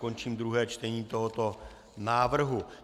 Končím druhé čtení tohoto návrhu.